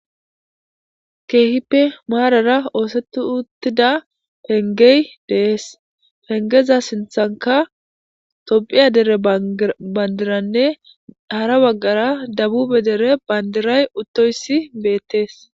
Keehippe maarara ooseti uttida pengey dees pengeza sinthanka tophiya dere bandiranne hara waggara dabube dere bandiray uttoyssi beettees.